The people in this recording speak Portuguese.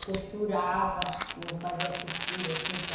Eu costurava, eu fazia costura, assim, para...